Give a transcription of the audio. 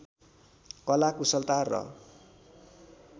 कला कुशलता र